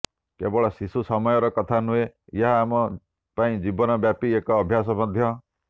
କେବଳ ଶିଶୁ ସମୟର କଥା ନୁହେଁ ଏହା ଆମ ପାଇଁ ଜୀବନ ବ୍ୟାପୀ ଏକ ଅଭ୍ୟାସ ମଧ୍ୟ